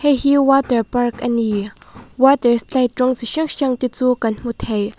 heihi water park a ni water slide rawng chi hrang hrang te chu kan hmu thei.